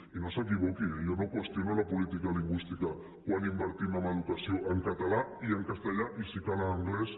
i no s’equivoqui eh jo no qüestiono la política lingüística quan invertim en educació en català i en castellà i si cal en anglès